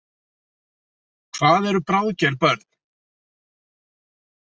Hvað eru bráðger börn?